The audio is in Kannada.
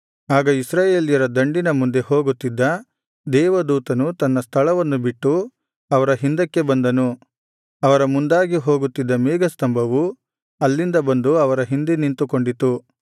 ಆಗ ಇಸ್ರಾಯೇಲರ ದಂಡಿನ ಮುಂದೆ ಹೋಗುತ್ತಿದ್ದ ದೇವದೂತನು ತನ್ನ ಸ್ಥಳವನ್ನು ಬಿಟ್ಟು ಅವರ ಹಿಂದಕ್ಕೆ ಬಂದನು ಅವರ ಮುಂದಾಗಿ ಹೋಗುತ್ತಿದ್ದ ಮೇಘಸ್ತಂಭವು ಅಲ್ಲಿಂದ ಬಂದು ಅವರ ಹಿಂದೆ ನಿಂತುಕೊಂಡಿತು